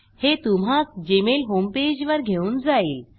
हे तुम्हास Gmail homepage वर घेऊन जाईल